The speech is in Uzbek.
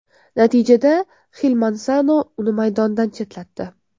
Natijada Xil Mansano uni maydondan chetlatdi.